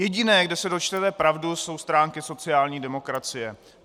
Jediné, kde se dočteme pravdu, jsou stránky sociální demokracie.